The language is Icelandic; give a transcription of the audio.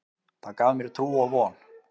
Það gaf mér trú og von.